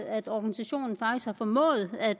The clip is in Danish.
at organisationen faktisk har formået at